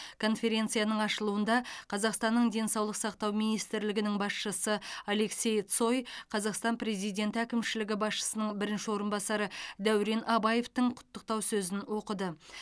конференцияның ашылуында қазақстанның денсаулық сақтау министрлігінің басшысы алексей цой қазақстан президенті әкімшілігі басшысының бірінші орынбасары дәурен абаевтың құттықтау сөзін оқыды